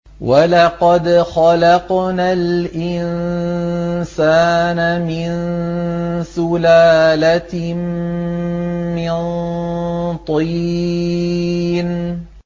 وَلَقَدْ خَلَقْنَا الْإِنسَانَ مِن سُلَالَةٍ مِّن طِينٍ